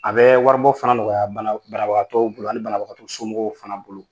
A bɛ wari bɔ fana nɔgɔya banabagatɔw bolo ani banabagato somɔgɔw fana bolo.